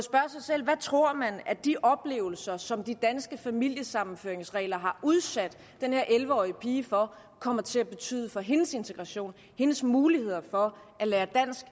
sig selv hvad tror man at de oplevelser som de danske familiesammenføringsregler har udsat den her elleve årige pige for kommer til at tyde for hendes integration og hendes muligheder for at lære dansk